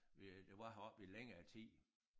Vi øh der var heroppe i længere tid